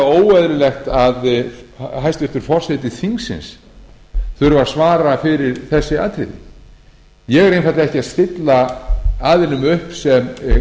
óeðlilegt að hæstvirtur forseti þingsins þurfi að svara fyrir þessi atriði ég er einfaldlega ekki að stilla aðilum upp sem